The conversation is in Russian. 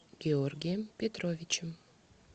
георгием петровичем